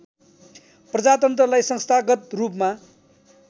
प्रजातन्त्रलाई संस्थागत रूपमा